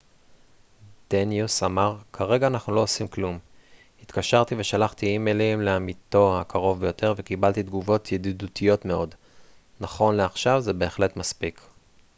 דניוס אמר כרגע אנחנו לא עושים כלום התקשרתי ושלחתי אימיילים לעמיתו הקרוב ביותר וקיבלתי תגובות ידידותיות מאוד נכון לעכשיו זה בהחלט מספיק